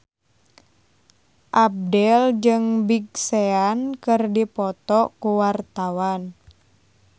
Abdel jeung Big Sean keur dipoto ku wartawan